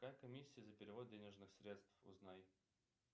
какая комиссия за перевод денежных средств узнай